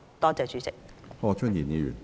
多謝主席。